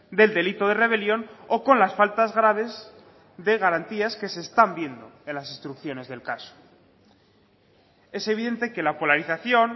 del delito de rebelión o con las faltas graves de garantías que se están viendo en las instrucciones del caso es evidente que la polarización